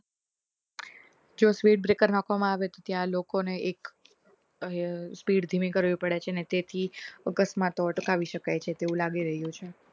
જો speed breaker નાખવા માં આવે તો ત્યાં લોકો ને એક speed ધીમી કરવી પડે છે ને તેથી અકસ્માત હોય તો અટકાવી શકાય છે